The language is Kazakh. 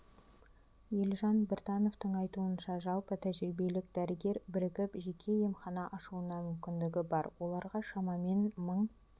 елжан біртановтың айтуынша жалпы тәжірибелік дәрігер бірігіп жеке емхана ашуына мүмкіндігі бар оларға шамамен мың